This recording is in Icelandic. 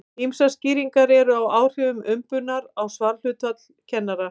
Ýmsar skýringar eru á áhrifum umbunar á svarhlutfall kannana.